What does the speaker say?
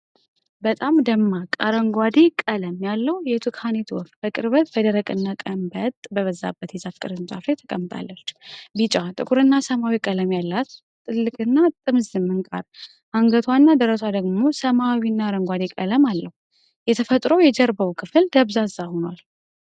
በጣም ደማቅ አረንጓዴ ቀለም ያለው የቱካኔት ወፍ በቅርበት በደረቅና ቀንበጥ በበዛበት የዛፍ ቅርንጫፍ ላይ ተቀምጣለች። ቢጫ፣ ጥቁርና ሰማያዊ ቀለም ያላት ትልቅና ጥምዝ ምንቃር፣ አንገቷና ደረቷ ደግሞ ሰማያዊና አረንጓዴ ቀለም አለው። የተፈጥሮው የጀርባው ክፍል ደብዛዛ ሆኗል።